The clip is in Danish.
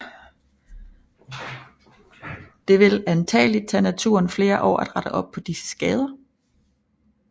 Det vil antagelig tage naturen flere år at rette op på disse skader